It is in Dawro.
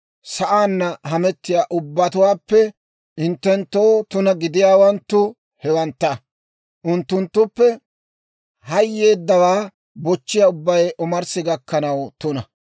Sa'aanna hametiyaa ubbatuwaappe hinttenttoo tuna gidiyaawanttu hewantta; unttunttuppe hayeeddawaa bochchiyaa ubbay omarssi gakkanaw tuna.